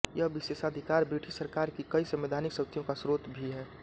यह विशेषाधिकार ब्रिटिश सरकार की कई संवैधानिक शक्तियों का स्रोत भी है